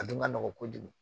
A dun ma nɔgɔ kojugu